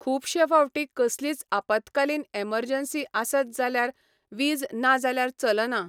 खूबशें फावटी कसलीच आपातकालीन एमरजन्सी आसात जाल्यार वीज ना जाल्यार चलना.